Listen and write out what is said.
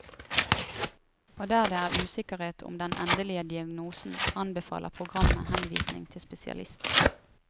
Og der det er usikkerhet om den endelige diagnosen, anbefaler programmet henvisning til spesialist.